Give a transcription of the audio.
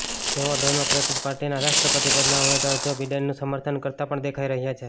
તેઓ ડેમોક્રેટિક પાર્ટીના રાષ્ટ્રપતિ પદના ઉમેદવાર જો બિડેનનું સમર્થન કરતા પણ દેખાઇ રહ્યા છે